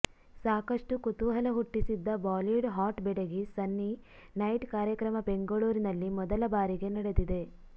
ಸಾಕಷ್ಟು ಕುತೂಹಲ ಹುಟ್ಟಿಸಿದ್ದ ಬಾಲಿವುಡ್ ಹಾಟ್ ಬೆಡಗಿ ಸನ್ನಿ ನೈಟ್ ಕಾರ್ಯಕ್ರಮ ಬೆಂಗಳೂರಿನಲ್ಲಿ ಮೊದಲ ಬಾರಿಗೆ ನಡೆದಿದೆ